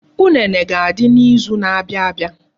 Unene ga-adị n'izu na-abia abia.